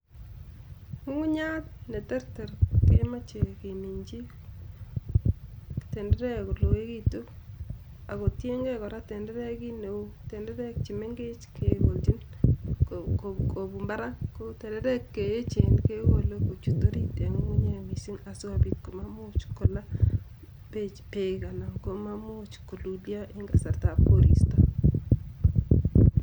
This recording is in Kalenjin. Ng'ung'unyat ne terter kemeche keminjin tenderea koloigitu ako tiengei kora tendereait kit neu. Tenderek che mengech kegonjin kobun barak, ko tenderek che echen kekole kochut orit eng Ng'ung'unyat mising asi kobit komamuch kolaa bek anan komamuch kolulyo eng kasartab koristo.